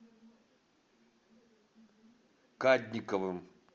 кадниковым